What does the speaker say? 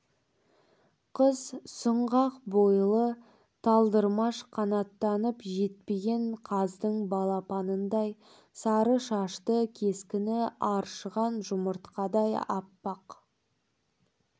қыз сұңғақ бойлы талдырмаш қанаттанып жетпеген қаздың балапанындай сары шашты кескіні аршыған жұмыртқадай аппақ